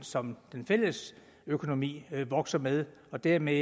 som den fælles økonomi vokser med og dermed